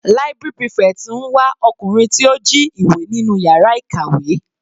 Library prefect ń wá ọkùnrin tí ó jí ìwé nínú yàrá ìkàwé.